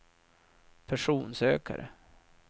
personsökare